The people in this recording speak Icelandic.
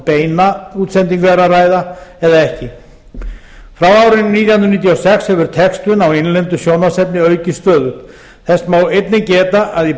beina útsendingu er að ræða eða ekki frá árinu nítján hundruð níutíu og sex hefur textun á innlendu sjónvarpsefni aukist stöðugt þess má einnig geta að í